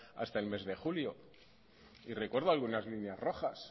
hasta el mes de julio y recuerdo algunas líneas rojas